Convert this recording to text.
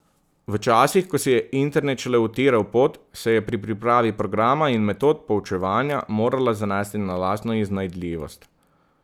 V časih, ko si je internet šele utiral pot, se je pri pripravi programa in metod poučevanja morala zanesti na lastno iznajdljivost.